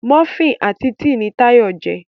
Múfìn àti tea ní Tayo jé.